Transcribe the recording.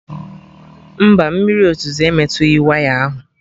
Mba, mmiri ozuzo emetughị waya ahụ